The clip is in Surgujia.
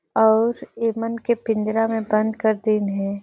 अउर ए मन के पिंजरा में बंद कर दीन हे।